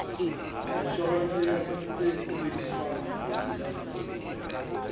inshorense ya tse sebediswang mobung